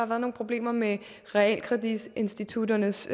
været nogle problemer med realkreditinstitutternes